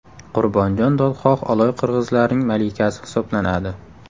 Qurbonjon dodxoh Oloy qirg‘izlarining malikasi hisoblanadi.